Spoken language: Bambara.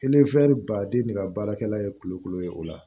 baden de ka baarakɛla ye kulukoro ye o la